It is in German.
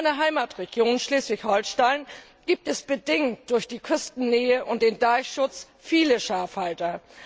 In meiner Heimatregion Schleswig Holstein gibt es bedingt durch die Küstennähe und den Deichschutz viele Schafhalter.